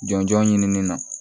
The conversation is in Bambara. Jɔnjɔn ɲinini na